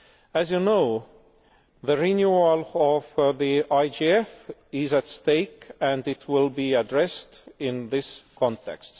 As you know, the renewal of the IGF is at stake and it will be addressed in this context.